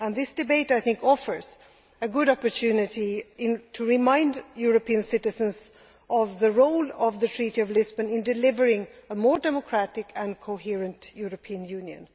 This debate, I think, offers a good opportunity to remind European citizens of the role of the Treaty of Lisbon in delivering a more democratic and coherent European Union.